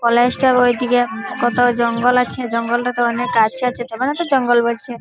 College টার ওই দিকে কত জঙ্গল আছে জঙ্গল টা তে অনেক গাছ আছে তবে না তো জঙ্গল বলছে ।